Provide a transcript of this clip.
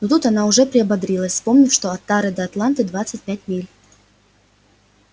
и тут она же приободрилась вспомнив что от тары до атланты двадцать пять миль